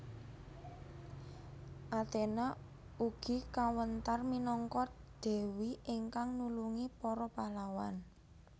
Athena ugi kawentar minangka dewi ingkang nulungi para pahlawan